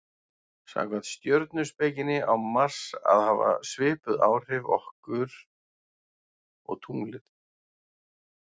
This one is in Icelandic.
samkvæmt stjörnuspekinni á mars að hafa svipuð áhrif okkur og tunglið